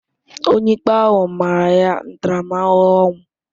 Onyeikpe ahụ mara ya ntaramahụhụ ọnwụ.